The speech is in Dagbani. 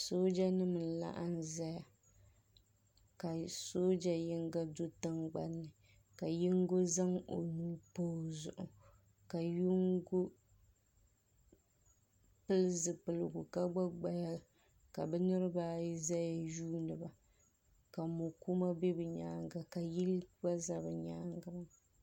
soojanima n-laɣim zaya ka sooja yinga do tiŋgbani ni ka yingo zaŋ o nuu pa o zuɣu ka yingo pili zupiligu ka gba gbaya ka bɛ niriba ayi zaya yuundi ba ka mɔ' kuma be bɛ nyaaga ka yili gba za bɛ nyaaga maa.